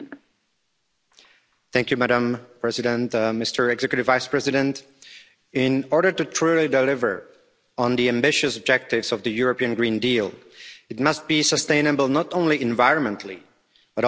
Madam President, Executive Vice President, in order to truly deliver on the ambitious objectives of the European Green Deal, it must be sustainable not only environmentally, but also socioeconomically.